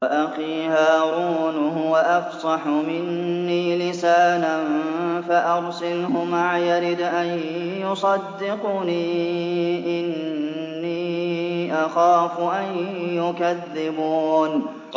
وَأَخِي هَارُونُ هُوَ أَفْصَحُ مِنِّي لِسَانًا فَأَرْسِلْهُ مَعِيَ رِدْءًا يُصَدِّقُنِي ۖ إِنِّي أَخَافُ أَن يُكَذِّبُونِ